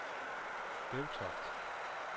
Bevtoft